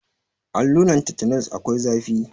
Alluran tetenos akwai zafi.